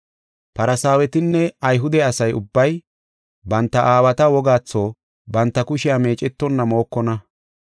Farsaawetinne Ayhude asa ubbay banta aawata wogaatho banta kushiya meecetonna mookonna.